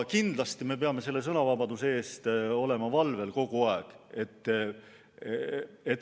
Kindlasti peame sõnavabaduse eest kogu aeg valvel olema.